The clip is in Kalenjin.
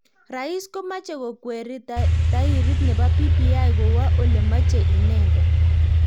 Rais komache kokweri tairit nebo BBI kowa olemache inendet.